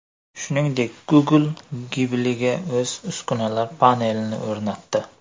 Shuningdek, Google Ghibli’ga o‘z uskunalar panelini o‘rnatdi.